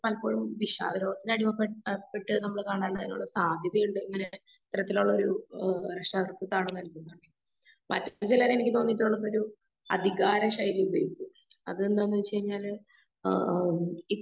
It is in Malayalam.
പലപ്പോഴും വിഷാദ രോഗതിന്ന് അടിമപ്പെട്ട് അകപ്പെട്ട് നമ്മള് കാണാൻ കഴിവുള്ള സാധ്യതയുണ്ട്. ഇങ്ങനെ ഇത്തരത്തിലുള്ള ഒരു ഏഹ് മാനസികാവസ്ഥയാണ് നൽകുന്നത്. മനസ്സിലുള്ളതെങ്കിലും അധികാര ശൈലിയുള്ളത്. അതെന്താന്ന് വെച്ച് കഴിഞ്ഞാല് ആ ആഹ് ഈ